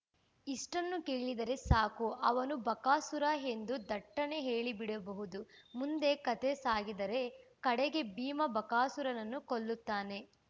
ಇಷ್ಟನ್ನು ಕೇಳಿದರೆ ಸಾಕು ಅವನು ಬಕಾಸುರ ಎಂದು ಥಟ್ಟನೆ ಹೇಳಿಬಿಡಬಹುದು ಮುಂದೆ ಕತೆ ಸಾಗಿದರೆ ಕಡೆಗೆ ಭೀಮ ಬಕಾಸುರನನ್ನು ಕೊಲ್ಲುತ್ತಾನೆ